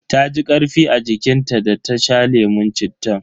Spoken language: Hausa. Taji karfi a jikin ta da ta sha lemun cittan.